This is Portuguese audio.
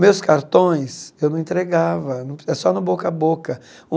Meus cartões eu não entregava, é só no boca a boca.